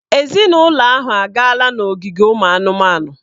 Ezinụlọ ahụ agaala n'ogige ụmụ anụmanụ.